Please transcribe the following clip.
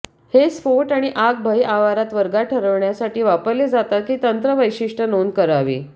हे स्फोट आणि आग भय आवारात वर्गात ठरवण्यासाठी वापरले जातात की तंत्र वैशिष्ट्य नोंद करावी